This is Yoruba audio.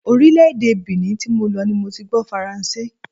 Orílè-èdè Benin tí mo lọ ni mo ti gbó Faranse.